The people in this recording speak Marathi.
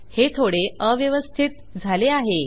हे थोडे अव्यवस्थित झाले आहे